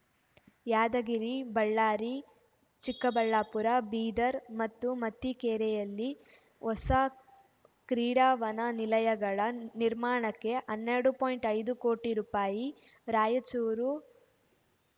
ಯಾದಗಿರಿಬಳ್ಳಾರಿ ಚಿಕ್ಕಬಳಾಪ್ಪುರ ಬೀದರ್ ಮತ್ತು ಮತಿಕೇರೆಯಲ್ಲಿ ಹೋಸ ಕ್ರೀಡಾ ವನ ನಿಲಯಗಳ ನಿರ್ಮಾಣಕ್ಕೆ ಹನ್ನೆರಡು ಪಾಯಿಂಟ್ ಐದು ಕೋಟಿ ರೂಪಾಯಿ ರಾಯಚೂರು